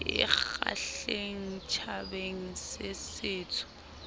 e kgahlehang tjhabeng se setsho